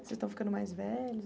Vocês estão ficando mais velhos?